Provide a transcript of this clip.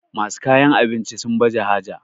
masu kayan abinci sun baje haja